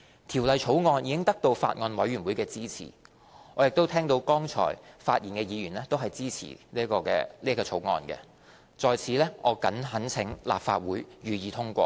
《條例草案》已得到法案委員會的支持，我亦聽到剛才發言的議員都支持《條例草案》，我在此懇請立法會予以通過。